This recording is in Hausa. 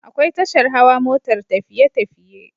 Akwai tashar Hawa motar tafiye tafiye